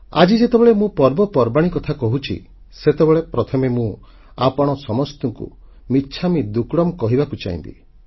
ଆଜି ଯେତେବେଳେ ମୁଁ ପର୍ବପର୍ବାଣୀ କଥା କହୁଛି ସେତେବେଳେ ପ୍ରଥମେ ମୁଁ ଆପଣ ସମସ୍ତଙ୍କୁ ମିଚ୍ଛାମୀ ଦୁକ୍କଡମ୍ କହିବାକୁ ଚାହିଁବି